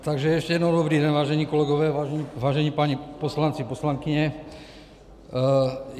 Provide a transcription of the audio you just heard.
Takže ještě jednou dobrý den, vážení kolegové, vážení páni poslanci, poslankyně.